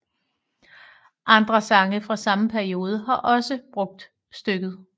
Andre sange fra samme periode har også brugt stykket